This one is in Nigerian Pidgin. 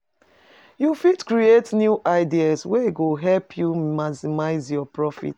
You fit create new ideas wey go help you maximize your profit.